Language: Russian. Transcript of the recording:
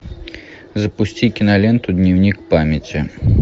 запусти киноленту дневник памяти